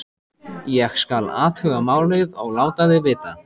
Ég: skal athuga málið og láta þig vita